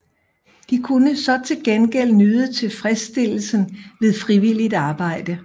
De kunne så til gengæld nyde tilfredsstillesen ved frivilligt arbejde